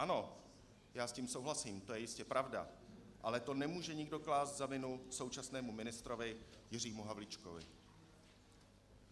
Ano, já s tím souhlasím, to je jistě pravda, ale to nemůže nikdo klást za vinu současnému ministrovi Jiřímu Havlíčkovi.